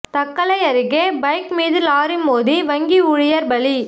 தக்கலை அருகே பைக் மீது லாரி மோதி வங்கி ஊழியர் பலி